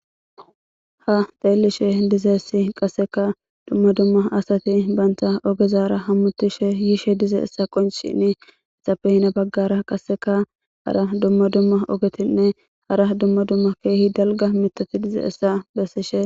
Ha xeelishe dizessi qasseka dumma dumma asati baynta ogezara hammutishe yiishe dize essa qoncini isappe hina baggara qasseka hara dumma dumma ogetinne hara dumma dumma keehi dalga mitati dize essa bessishe.